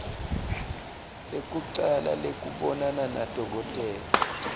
lekucala lekubonana nadokotela